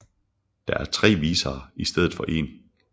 Der er tre visere i stedet for en